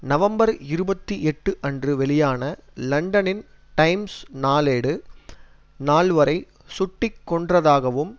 November இருபத்தி எட்டு அன்று வெளியான லண்டனின் டைம்ஸ் நாளேடு நால்வரை சுட்டு கொன்றதாகவும்